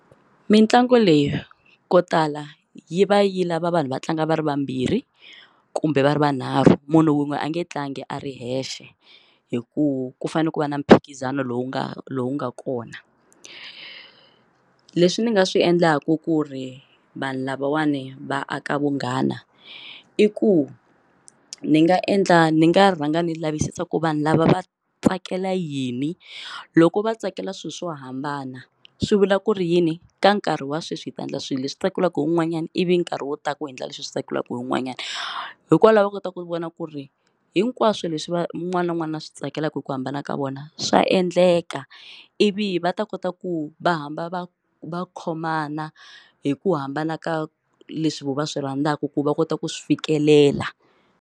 Mitlangu leyi ko tala yi va yi lava vanhu va tlanga va ri vambirhi kumbe va ri vanharhu munhu wun'we a nge tlangi a ri yexe hikuva ku fanele ku va na mphikizano lowu nga lowu nga kona leswi ni nga swi endlaku ku ri vanhu lavawani va aka vunghana i ku ni nga endla ni nga rhanga ni lavisisa ku vanhu lava va tsakela yini loko va tsakela swilo swo hambana swi vula ku ri yini ka nkarhi wa sweswi hi ta endla swilo leswi tsakelaku un'wanyana ivi nkarhi wo tala ku endla leswi hi swi tsakelaka hi un'wanyana hikwalaho va kota ku vona ku ri hinkwaswo leswi va wun'wana na wun'wana swi tsakelaka hi ku hambana ka vona swa endleka ivi va ta kota ku va hamba va kha va khomana hi ku hambana ka leswi va swi rhandzaka ku va kota ku swi fikelela.